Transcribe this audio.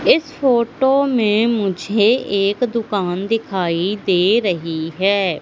इस फोटो में मुझे एक दुकान दिखाई दे रही हैं।